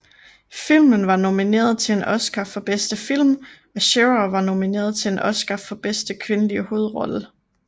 Filmen var nomineret til en Oscar for bedste film og Shearer var nomineret til en Oscar for bedste kvindelige hovedrolle